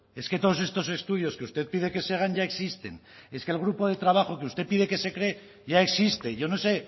es que todos estos estudios que usted pide que se hagan ya existen es que el grupo de trabajo que usted pide que se cree ya existe yo no sé